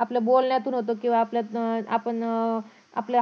आपल्या बोलण्यातून होतो किंवा आपल्या अं आपण अं आपल्या